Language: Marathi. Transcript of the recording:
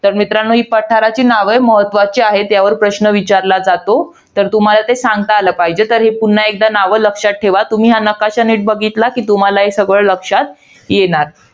तर मित्रांनो, ही पाठरांची नावं आहेत. महत्वाची आहेत, यांवर प्रश्न विचारला जातो. तर तुम्हाला ते सांगता आलं पाहिजे. तरी, पुन्हा एकदा नावं लक्षात ठेवा. तुम्ही हा नकाशा निट बघितलात, तर तुम्हाला हे सगळं लक्षात येणार.